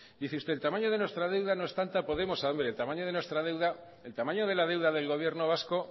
dice usted el tamaño de nuestra deuda no es tanta podemos a ver el tamaño de nuestra el tamaño de la deuda del gobierno vasco